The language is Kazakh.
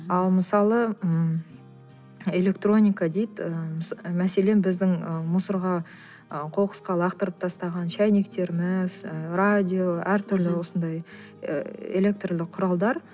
ал мысалы м электроника дейді ыыы мәселен біздің ы мусорға ы қоқысқа лақтырып тастаған шәйнектеріміз ы радио әртүрлі осындай ы электірлік құралдар